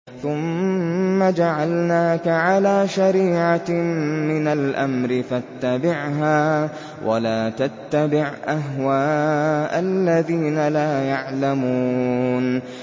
ثُمَّ جَعَلْنَاكَ عَلَىٰ شَرِيعَةٍ مِّنَ الْأَمْرِ فَاتَّبِعْهَا وَلَا تَتَّبِعْ أَهْوَاءَ الَّذِينَ لَا يَعْلَمُونَ